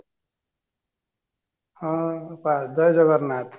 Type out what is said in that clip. ହଁ ଜୟ ଜଗନାଥ